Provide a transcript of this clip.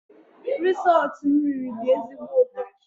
Risotto m riri dị ezigbo ụtọ